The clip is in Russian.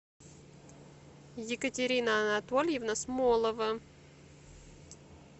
екатерина анатольевна смолова